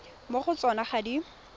mo go tsona ga di